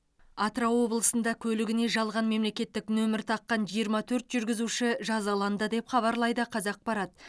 атырау облысында көлігіне жалған мемлекеттік нөмір таққан жиырма төрт жүргізуші жазаланды деп хабарлайды қазақпарат